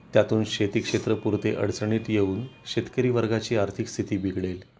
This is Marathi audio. त्यातून शेती क्षेत्र पुरते अडचणीत येऊन शेतकरी वर्गाची आर्थिक स्थिती बिघडेल